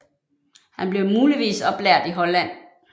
Han blev muligvis oplært i Holland